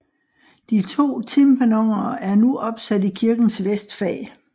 De to tympanoner er nu opsat i kirkens vestfag